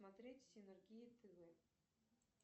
смотреть синергия тв